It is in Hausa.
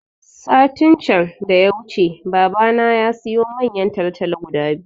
Satin can da ya wuce baba na yasiyo manyan talatalo guda biyu